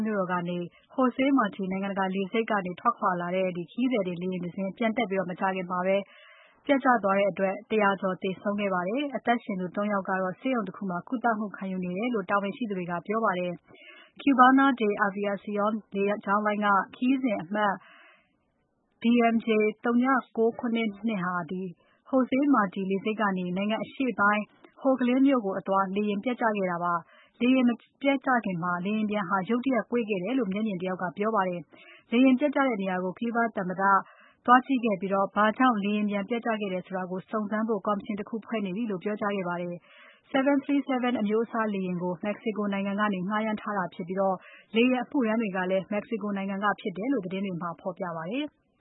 မြို့တော်က Jose Marti နိုင်ငံတကာလေဆိပ်ကနေ ထွက်ခွာလာတဲ့ ခရီးသည်တင် လေယာဉ်တစင်း ပျံတက်ပြီး မကြာခင် ပျက်ကျခဲ့တဲ့အတွက် ၁၀၀ ကျော် သေဆုံးခဲ့ပါတယ်။ အသက်ရှင်သူ ၃ ယောက်ကတော့ ဆေးရုံတခုမှာ ကုသမှုခံယူနေတယ်လို့ တာဝန်ရှိသူတွေ က ပြောပါတယ်။ Cubana de Aviacion လေကြောင်းလိုင်းက လေယာဉ်ခရီးစဉ်အမှတ် DMJ 0972 ဟာ Jose Marti လေဆိပ်ကနေ နိုင်ငံအရှေ့ပိုင်း Holguin (ဟိုလဂင်း) မြို့ကို အသွား လေယာဉ်ပျက်ကျခဲ့ တာပါ။ လေယာဉ်ပျက်မကျခင် လေယာဉ်ပျံဟာ ရုတ်တရက် ကွေ့ခဲ့တယ်လို့ မျက်မြင်တယောက်က ပြောပါတယ်။ လေယာဉ်ပျက်ကျတဲ့နေရာကို Cuba သမ္မတ Miguel Diaz-Canel သွားကြည့်ခဲ့ပြီး ဘာကြောင့် လေယာဉ်ပျက်ကျခဲ့တယ်ဆိုတာကို စုံစမ်းဖို့ ကော်မရှင်တခုဖွဲ့နေပြီလို့ ပြောကြားခဲ့ပါတယ်။ 737 အမျိုးအစားလေယာဉ်ကို Mexico နိုင်ငံက ငှားရမ်းထားတာဖြစ်ပြီး လေယာဉ်အမှုထမ်းတွေကလည်း Mexico နိုင်ငံကဖြစ်တယ်လို့ သတင်းတွေမှာ ဖော်ပြပါတယ်။